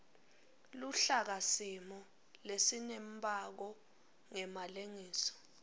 luhlakasimo lesinembako ngemalengiso